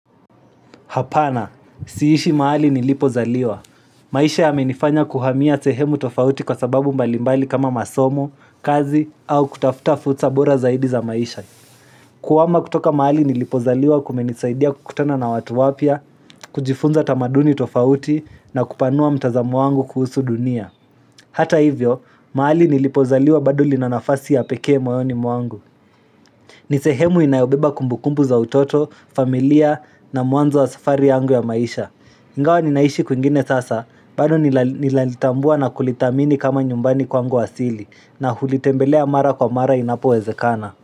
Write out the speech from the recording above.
Hapana, siishi mahali nilipo zaliwa. Maisha ya menifanya kuhamia sehemu tofauti kwa sababu mbalimbali kama masomo, kazi, au kutafuta futa fursa bora zaidi za maisha. Kuhawama kutoka maali nilipo zaliwa kumenisaidia kukutana na watu wapia, kujifunza tamaduni tofauti na kupanua mtazamo wangu kuhusu dunia. Hata hivyo, mahali nilipo zaliwa bado lina nafasi ya pekee moyoni mwangu. Ni sehemu inayobeba kumbukumbu za utoto, familia na mwanzo wa safari yangu ya maisha. Ingawa ninaishi kuingine sasa, bado nilalitambua na kulitamini kama nyumbani kwa mgu wasili, na hulitembelea mara kwa mara inapo wezekana.